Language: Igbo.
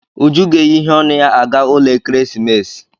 Uju ga-eyi iheonu ya aga ụlọ ekeresimesi